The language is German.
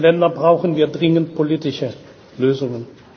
Für diese Länder brauchen wir dringend politische Lösungen.